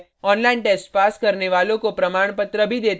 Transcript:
online test pass करने वालों को प्रमाणपत्र भी देते हैं